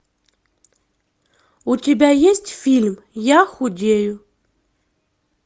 у тебя есть фильм я худею